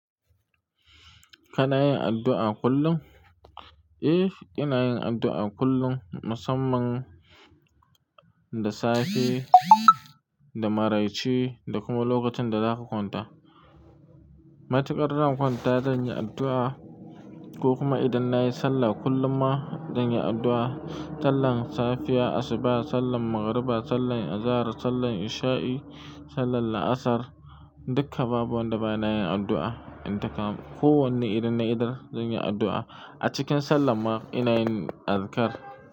Kana yin addu'a kullum? Eh, ina yin addu'a kullum musamman da safe, da maraice da kuma lokacin da zaka kwanta. Matukar zan kwanta zan yi addu'a ko kuma idan na yi sallah kullum ma zan yi addu'a. Sallan safiya, asuba, sallan magriba, sallan azahar, sallan isha'i, sallan laasar dukka babu wanda bana yin addu'a. Intakama, kowanne ne idan na idar zan yi addu'a. A cikin sallar ma ina yin azkar.